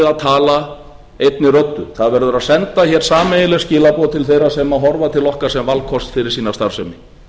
að tala einni röddu það verður að senda hér sameiginleg skilaboð til þeirra sem horfa til okkar sem valkosts fyrir sína starfsemi